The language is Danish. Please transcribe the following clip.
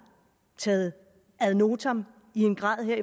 taget ad notam i en grad